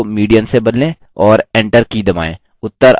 और enter की दबाएँ